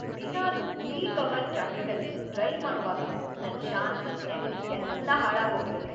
ದಿನಾಲು peak hour ಟ್ರಾಫಿಕ್ಕಲ್ಲಿ drive ಮಾಡೋವಾಗ ನನ್‌ ಶಾಂತಿ, ನೆಮ್ದಿ ಎಲ್ಲ ಹಾಳಾಗೋಗಿರತ್ತೆ.